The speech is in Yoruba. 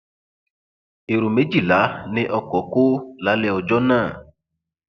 èrò méjìlá ni ọkọ kọ lálẹ ọjọ náà